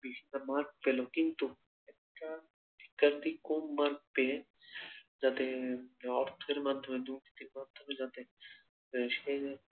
বিশাল mark পেল কিন্তু একটা শিক্ষার্থী কম mark পেয়ে যাতে অর্থের মাধ্যমে দুর্নীতির মাধ্যমে যাতে সে